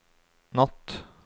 natt